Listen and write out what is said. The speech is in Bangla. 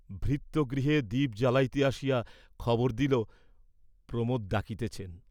ভৃত্য গৃহে দীপ জ্বালাইতে আসিয়া খবর দিল প্রমোদ ডাকিতেছেন।